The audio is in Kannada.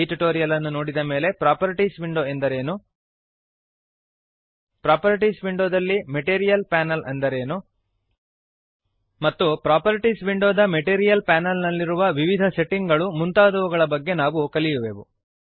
ಈ ಟ್ಯುಟೋರಿಯಲ್ ಅನ್ನು ನೋಡಿದ ಮೇಲೆ ಪ್ರಾಪರ್ಟೀಸ್ ವಿಂಡೋ ಎಂದರೇನು ಪ್ರಾಪರ್ಟೀಸ್ ವಿಂಡೋದಲ್ಲಿ ಮೆಟೀರಿಯಲ್ ಪ್ಯಾನಲ್ ಎಂದರೇನು160 ಮತ್ತು ಪ್ರಾಪರ್ಟೀಸ್ ವಿಂಡೋದ ಮೆಟೀರಿಯಲ್ ಪ್ಯಾನಲ್ ನಲ್ಲಿ ಇರುವ ವಿವಿಧ ಸೆಟ್ಟಿಂಗ್ ಗಳು ಮುಂತಾದವುಗಳ ಬಗೆಗೆ ನಾವು ಕಲಿಯುವೆವು